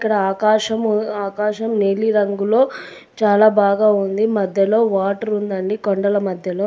ఇక్కడ ఆకాశము ఆకాశం నీలి రంగులో చాలా బాగా ఉంది. మధ్యలో వాటర్ ఉందండి కొండల మధ్యలో.